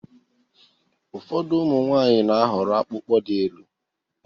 Ụfọdụ ụmụ nwanyị n'ahọrọ akpụkpọ dị élú